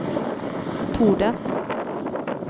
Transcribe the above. torde